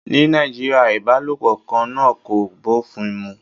Ní Nàìjíríà, ìbálòpọ̀ kan náà kò bófin mu